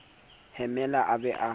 hemela a ba a mo